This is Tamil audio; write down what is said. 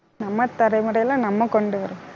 நம்ம தலைமுறையில நம்ம கொண்டு வரணும்